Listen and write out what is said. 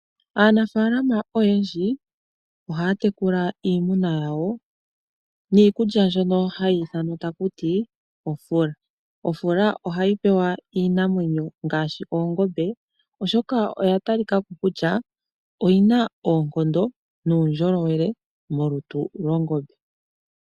Aanafalama oyendji ohaya tekula iimuna yawo niikulya mboka hayi iithanwa ta kuti ofula. Ofula ohayi pewa iinamwenyo ngashi oongombe oshoka oya tali kako kutya oyina oonkondo nuundjolowele molutu lwongombe.